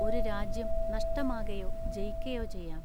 ഒരു രാജ്യം. നഷ്ടമാകയൊ ജയിക്കയൊ ചെയ്യാം.